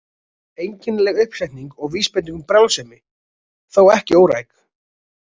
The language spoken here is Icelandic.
Einkennileg uppsetning og vísbending um brjálsemi, þó ekki óræk.